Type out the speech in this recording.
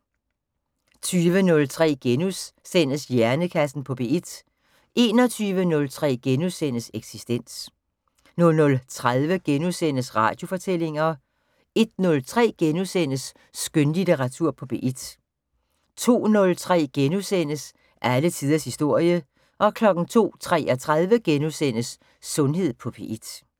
20:03: Hjernekassen på P1 * 21:03: Eksistens * 00:30: Radiofortællinger * 01:03: Skønlitteratur på P1 * 02:03: Alle tiders historie * 02:33: Sundhed på P1 *